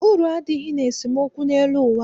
Uru adịghị n'esemookwu n'elu ụwa a.